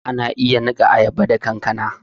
Ana iya niƙa ayaba da kankana